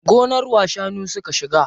Gonar wa shanu suka shiga?